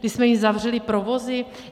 Kdy jsme jim zavřeli provozy?